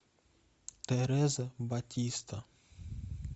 тереза батиста